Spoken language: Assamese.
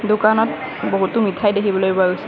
দোকানত বহুতো মিঠাই দেখিবলৈ পোৱা হৈছে।